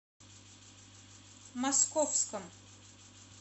московском